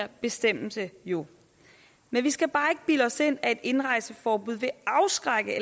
bestemmelse jo men vi skal bare ikke bilde os ind at et indrejseforbud vil afskrække